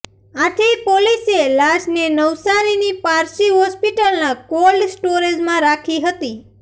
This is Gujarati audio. આથી પોલીસે લાશને નવસારીની પારસી હોસ્પિટલના કોલ્ડ સ્ટોરેજમાં રાખી હતી